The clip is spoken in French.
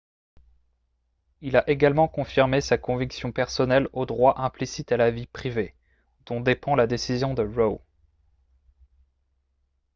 il a également confirmé sa conviction personnelle au droit implicite à la vie privée dont dépend la décision de roe